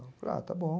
Ah, está bom.